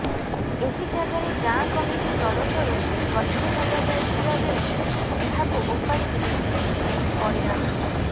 ଏହି ଜାଗାରେ ଗାଁ କମିଟି ତରଫରୁ ଗଛ ଲଗାଯାଇଥିବାବେଳେ ଏହାକୁ ଓପାଡି ଫିଙ୍ଗି ଦେଇଥିଲେ ବଳିରାମ